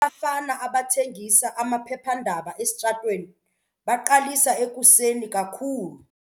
Abafana abathengisa amaphephandaba esitratweni baqalisa ekuseni kakhulu.